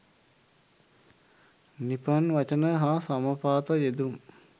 නිපන් වචන හා සමපාත යෙදුම්